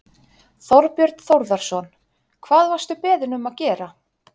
Þorbjörn Þórðarson: Hvað varstu beðinn um að gera?